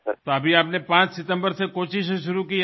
তো এখন আপনি 5 সেপ্টেম্বর থেকে কোচি থেকে শুরু করছেন